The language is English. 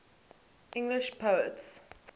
english poets